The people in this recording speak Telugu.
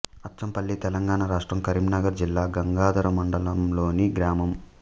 అచ్చంపల్లి తెలంగాణ రాష్ట్రం కరీంనగర్ జిల్లా గంగాధర మండలంలోని గ్రామం